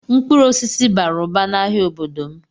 Mkpụrụ osisi bara ụba n'ahịa n'obodo m.